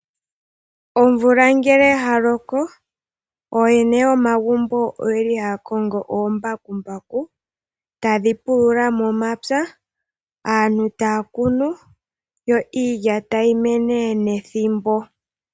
Omvula ngele ya loko, ooyene yomagumbo oyeli haya kongo oombakumbaku, tadhi pulula momapya, aantu taya kunu, yo iilya tayi mene nethimbo.